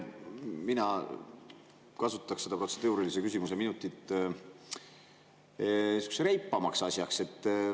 Mina kasutaksin seda protseduurilise küsimuse minutit sihukeseks reipamaks asjaks.